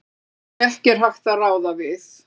sem ekki er hægt að ráða við.